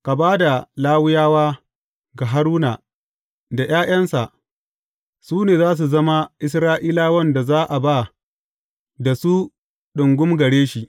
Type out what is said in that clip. Ka ba da Lawiyawa ga Haruna da ’ya’yansa; su ne za su zama Isra’ilawan da za a ba da su ɗungum gare shi.